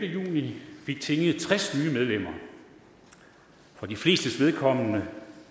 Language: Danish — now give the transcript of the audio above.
juni fik tinget tres nye medlemmer for de flestes vedkommende